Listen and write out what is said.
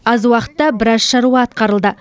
аз уақытта біраз шаруа атқарылды